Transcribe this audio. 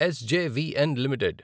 SJVN limited